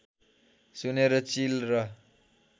सुनेर चिल र